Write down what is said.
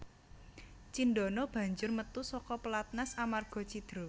Cindana banjur metu saka pelatnas amarga cidra